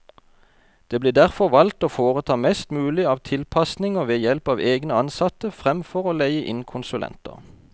Det ble derfor valgt å foreta mest mulig av tilpasninger ved help av egne ansatte, fremfor å leie inn konsulenter.